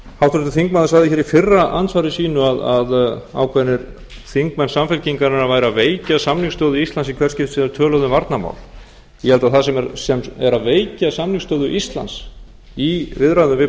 háttvirtur þingmaður sagði hér í fyrra andsvari sínu að ákveðnir þingmenn samfylkingarinnar væru að veikja samningsstöðu íslands i hvert skipti sem þeir töluðu um varnarmál ég held að það sem er að veikja samningsstöðu íslands í viðræðum við